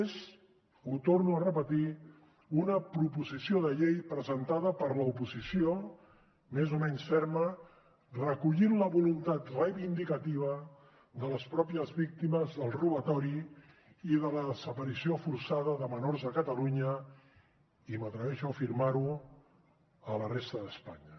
és ho torno a repetir una proposició de llei presentada per l’oposició més o menys ferma recollint la voluntat reivindicativa de les mateixes víctimes del robatori i de la desaparició forçada de menors a catalunya i m’atreveixo a afirmar ho a la resta d’espanya